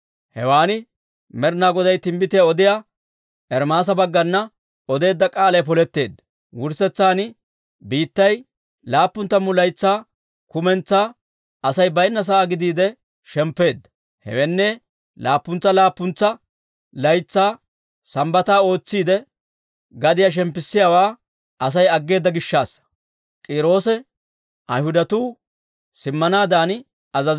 Hewan Med'inaa Goday timbbitiyaa odiyaa Ermaasa baggana odeedda k'aalay poletteedda. Wurssetsan biittay laappun tammu laytsaa kumentsaa Asay baynna sa'aa gidiide shemppeedda; hewenne, laappuntsa laappuntsa laytsaa Sambbata ootsiide, gadiyaa shemppissiyaawaa Asay aggeeda gishshassa.